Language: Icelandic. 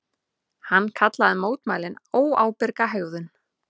Hann kallaði mótmælin óábyrga hegðun